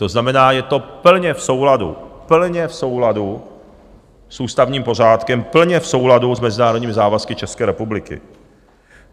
To znamená, je to plně v souladu - plně v souladu - s ústavním pořádkem, plně v souladu s mezinárodními závazky České republiky.